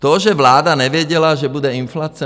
To, že vláda nevěděla, že bude inflace.